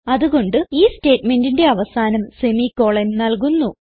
അത് കൊണ്ട് ഈ സ്റ്റേറ്റ്മെന്റിന്റെ അവസാനം സെമിക്കോളൻ നൽകുന്നു